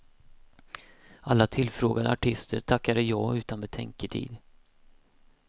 Alla tillfrågade artister tackade ja utan betänketid.